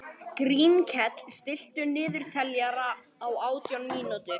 Grímkell, stilltu niðurteljara á átján mínútur.